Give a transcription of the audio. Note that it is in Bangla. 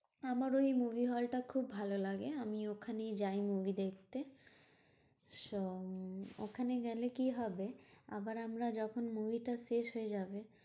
আমার ওই movie hall টা খুব ভালো লাগে আমি ওখানেই যাই movie দেখতে। তো উম ওখানে গেলে কি হবে? আবার আমরা যখন movie টা শেষ হয়ে যাবে